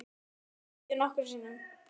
spurði hún og kyngdi nokkrum sinnum.